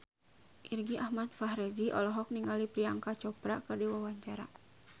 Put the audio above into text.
Irgi Ahmad Fahrezi olohok ningali Priyanka Chopra keur diwawancara